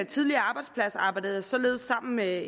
tidligere arbejdsplads arbejdede jeg således sammen med